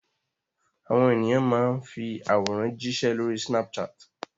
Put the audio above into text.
Àwọn ènìyàn máa fi àwòrán jíṣẹ́ lórí Snapchat.